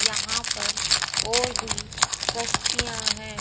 यहां पर और भी कश्तियां हैं।